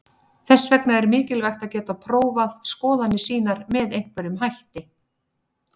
Þess vegna er mikilvægt að geta prófað skoðanir sínar með einhverjum hætti.